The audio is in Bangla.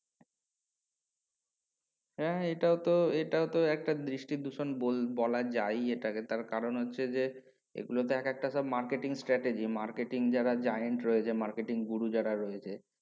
হ্যা হ্যা এটাও তো এটাও তো একটা বৃষ্টি দূষণ বল বলা যায়ই এটা কে কারণ হচ্ছে যে এগুলোতে একেক টাে marketing stage marketing যারা giant রয়েছে গুরু যারা রয়েছে